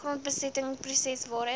grondbesetting proses waarin